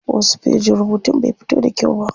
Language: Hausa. Wasu fejin rubutun bai fito da kyau ba.